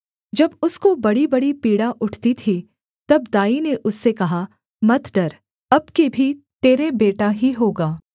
जब उसको बड़ीबड़ी पीड़ा उठती थी तब दाई ने उससे कहा मत डर अब की भी तेरे बेटा ही होगा